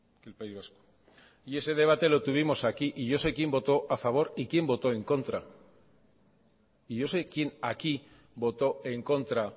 que el país vasco y ese debate lo tuvimos aquí y yo sé quién voto a favor y quién voto en contra y yo sé quién aquí voto en contra